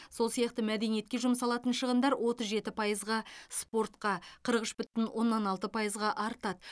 сол сияқты мәдениетке жұмсалатын шығындар отыз жеті пайызға спортқа қырық үш бүтін оннан алты пайызға артады